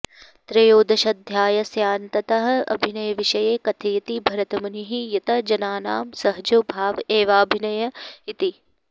त्रयोदशाध्यायस्यान्ततः अभिनयविषये कथयति भरतमुनिः यत् जनानां सहजो भाव एवाभिनयः इति